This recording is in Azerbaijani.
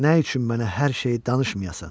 Nə üçün mənə hər şeyi danışmayasan?